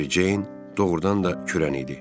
Meri Ceyn doğrudan da kürən idi.